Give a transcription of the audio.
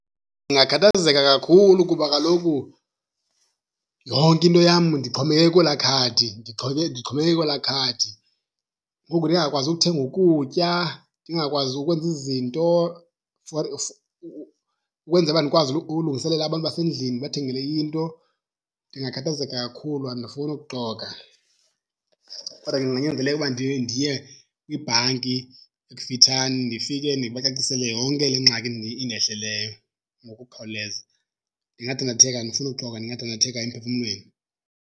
Ndingakhathazeka kakhulu kuba kaloku yonke into yam ndixhomekeke kwelaa khadi, ndixhomekeke kwelaa khadi. Ngoku ndingakwazi uthenga ukutya, ndingakwazi ukwenza izinto for ukwenzela uba ndikwazi ulungiselela abantu basendlini ndibathengele into. Ndingakhathazeka kakhulu, andifuni ukuxoka. Kodwa ke kunganyanzeleka uba ndiye kwibhanki ekufitshane ndifike ndibacacisele yonke le ngxaki indehleleyo ngokukhawuleza. Ndingadandatheka, andifuni uxoka, ndingadandatheka emphefumlweni.